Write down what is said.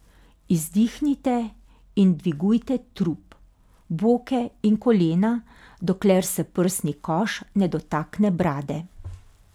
Izdihnite in dvigujte trup, boke in kolena, dokler se prsni koš ne dotakne brade.